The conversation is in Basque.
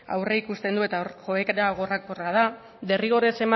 aurreikuste du eta hor joera gorakorra da derrigorrez